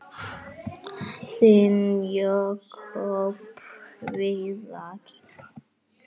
Þinn Jakob Viðar.